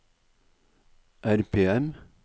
RPM